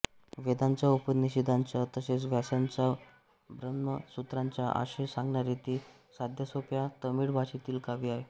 वेदांचा उपनिषदांचा तसेच व्यासांच्या ब्रह्मसूत्रांचा आशय सांगणारे ते साध्यासोप्या तमिळ भाषेतील काव्य आहे